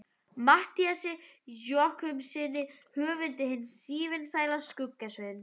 Matthíasi Jochumssyni höfundi hins sívinsæla Skugga-Sveins.